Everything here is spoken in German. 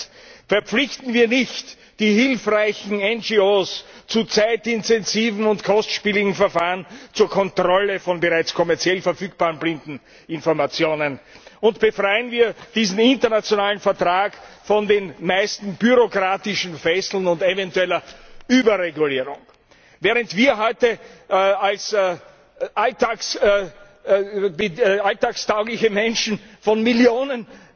Zweitens Verpflichten wir nicht die hilfreichen NRO zu zeitintensiven und kostspieligen Verfahren zur Kontrolle von bereits kommerziell verfügbaren Blindeninformationen und befreien wir diesen internationalen Vertrag von den meisten bürokratischen Fesseln und eventueller Überregulierung! Während wir heute als alltagstaugliche Menschen von Millionen